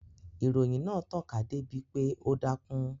Ìròyìn náà tàn ká dé bi pé ó dákún